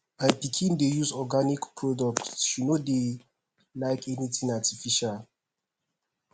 my pikin dey use organic products she no dey like anything artificial